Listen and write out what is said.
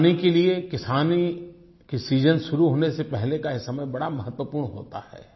किसान के लिए किसानी के सीजन शुरू होने का समय बड़ा ही महत्वपूर्ण होता है